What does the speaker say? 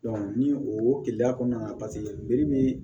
ni o keliya kɔnɔna na joli bɛ